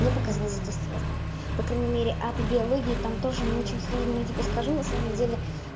мне показалось это сложно по крайней мере а по биологии там тоже не очень сложно я тебе скажу на самом деле